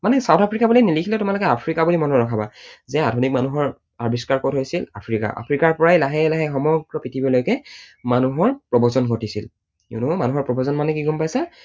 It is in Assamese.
মানে south আফ্ৰিকা বুলি নিলিখিলেও তোমালোকে আফ্ৰিকা বুলি মনত ৰখাবা যে আধুনিক মানুহৰ আৱিষ্কাৰ কত হৈছিল? আফ্ৰিকা। আফ্ৰিকাৰ পৰাই লাহে লাহে সমগ্ৰ পৃথিৱীলৈকে মানুহৰ প্ৰবজন ঘটিছিল। you know মানুহৰ প্ৰবজন মানে কি গম পাইছা?